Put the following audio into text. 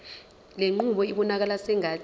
lenqubo ibonakala sengathi